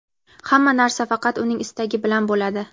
Hamma narsa faqat Uning istagi bilan bo‘ladi.